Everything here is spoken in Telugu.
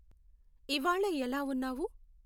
ఇవ్వాళ ఎలా ఉన్నావు